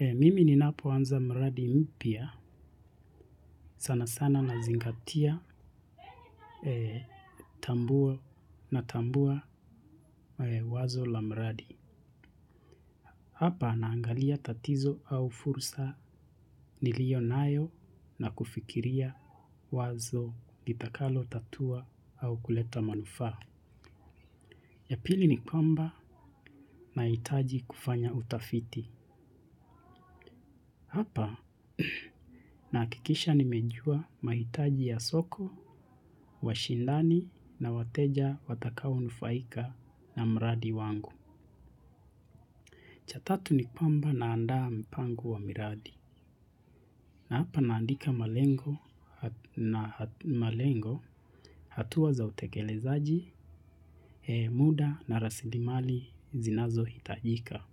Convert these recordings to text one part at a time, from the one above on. Mimi ninapoanza mradi mpya sana sana nazingatia tambua na tambua wazo la mradi. Hapa naangalia tatizo au fursa niliyonayo na kufikiria wazo litakalotatua au kuleta manufaa. Ya pili ni kwamba nahitaji kufanya utafiti. Hapa nakikisha nimejua mahitaji ya soko, washindani na wateja watakaonufaika na mradi wangu. Cha tatu ni kwamba naandaa mpango wa miradi. Na hapa naandika malengo, hatua za utekelezaji muda na rasilimali zinazohitajika.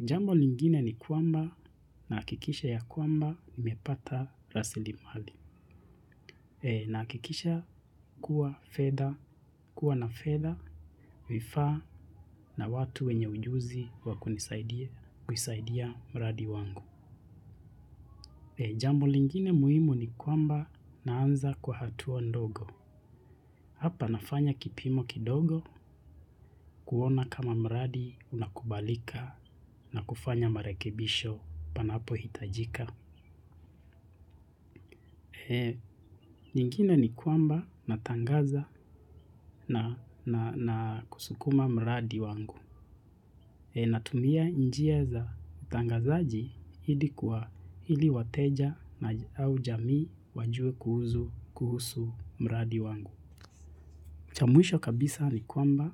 Jambo lingine ni kwamba nakikisha ya kwamba nmepata rasilimali. Nakikisha kuwa fedha, kuwa na fedha, vifaa na watu wenye ujuzi wa kunisaidia mradi wangu. Jambo lingine muhimu ni kwamba naanza kwa hatua ndogo. Hapa nafanya kipimo kidogo kuona kama mradi unakubalika na kufanya marekebisho panapohitajika. Nyingine ni kwamba natangaza na kusukuma mradi wangu. Natumia njia za utangazaji ili kuwa ili wateja au jamii wajue kuhusu mradi wangu. Cha mwisho kabisa ni kwamba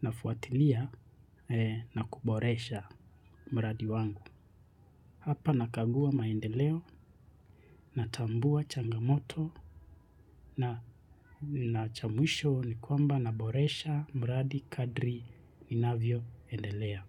nafuatilia na kuboresha mradi wangu. Hapa nakagua maendeleo natambua changamoto na cha mwisho ni kwamba naboresha mradi kadri ninavyoendelea.